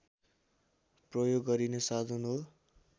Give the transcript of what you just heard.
प्रयोग गरिने साधन हो